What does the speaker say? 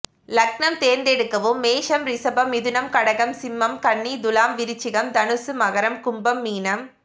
லக்னம் தேர்ந்தெடுக்கவும் மேஷம் ரிஷபம் மிதுனம் கடகம் சிம்மம் கன்னி துலாம் விருச்சிகம் தனுசு மகரம் கும்பம் மீனம்